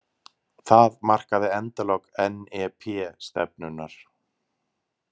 Það markaði endalok NEP-stefnunnar.